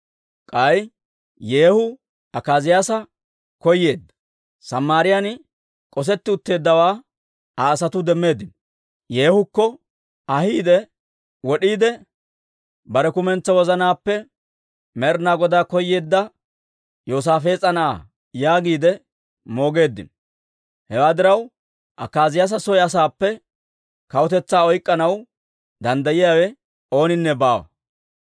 K'ay Yeehu Akaaziyaasa koyeedda; Samaariyaan k'osetti utteeddawaa Aa asatuu demmeeddino; Yeehukko ahiidde wod'iide, «Bare kumentsaa wozanaappe Med'inaa Godaa koyeedda Yoosaafees'a na'aa» yaagiide moogeeddino. Hewaa diraw, Akaaziyaasa soo asaappe kawutetsaa oyk'k'anaw danddayiyaawe ooninne baawa.